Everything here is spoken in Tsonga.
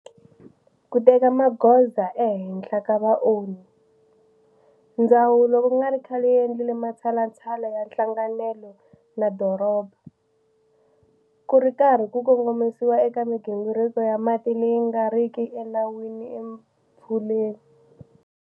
Ku teka magoza ehenhla ka vaonhi, Ndzawulo ku nga ri khale yi endlile matshalatshala ya nhlanganelo na doroba, ku ri karhi ku kongomisiwa eka migingiriko ya mati leyi nga riki enawini eMfuleni.